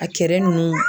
A kɛrɛ ninnu